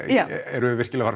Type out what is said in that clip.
erum við virkilega